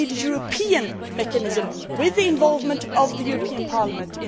We need a European mechanism with the involvement of the European Parliament.